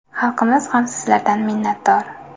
Xalqimiz ham sizlardan minnatdor.